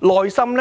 做好工作。